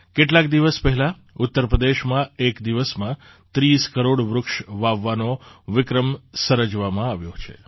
કેટલાક દિવસ પહેલાં ઉત્તર પ્રદેશમાં એક દિવસમાં ૩૦ કરોડ વૃક્ષ વાવવાનો વિક્રમ સર્જવામાં આવ્યો છે